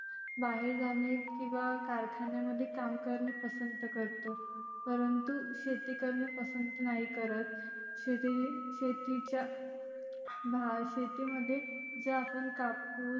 बाहेर जाने किंवा कारखान्यामध्ये काम करणे पसंत करतो. परंतु शेती करणे पसंत नाही करत. शेती शेतीच्या शेतीमध्ये जर आपण कापुस